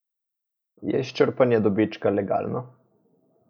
Je izčrpanje dobička legalno?